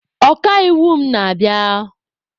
Ọka iwu m na-abịa.